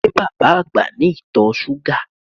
Ṣé bàbá àgbà ní ìtọ̀ súgà?